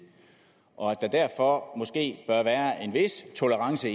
og at der derfor måske bør være en vis tolerance